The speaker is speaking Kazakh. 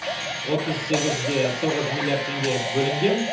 отыз сегізде тоғыз миллиард теңге бөлінген